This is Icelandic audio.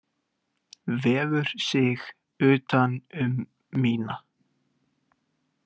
Vefur sig utan um mína.